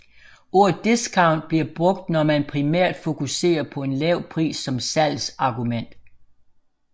Ordet discount bliver brugt når man primært fokuserer på en lav pris som salgsargument